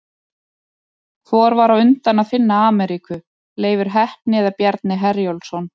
Hvor var á undan að finna Ameríku, Leifur heppni eða Bjarni Herjólfsson?